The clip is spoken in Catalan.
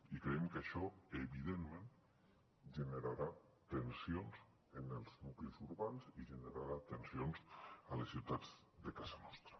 i creiem que això evidentment generarà tensions en els nuclis urbans i generarà tensions a les ciutats de casa nostra